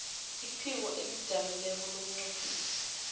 iphiko elizijameleko lobunqophisi